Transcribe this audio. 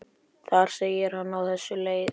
Þar segir hann á þessa leið